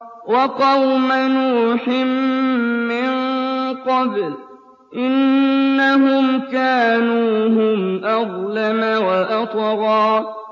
وَقَوْمَ نُوحٍ مِّن قَبْلُ ۖ إِنَّهُمْ كَانُوا هُمْ أَظْلَمَ وَأَطْغَىٰ